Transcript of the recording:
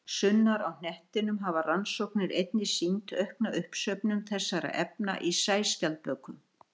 Sunnar á hnettinum hafa rannsóknir einnig sýnt aukna uppsöfnun þessara efna í sæskjaldbökum.